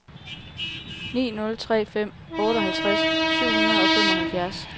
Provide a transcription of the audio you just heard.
ni nul tre fem otteoghalvtreds syv hundrede og femoghalvfjerds